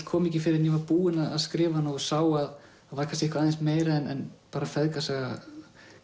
kom ekki fyrr en ég var búinn að skrifa hana og sá að það var eitthvað meira en bara feðgasaga